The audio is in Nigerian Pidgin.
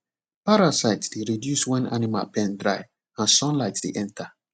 parasite dey reduce when animal pen dry and sunlight dey enter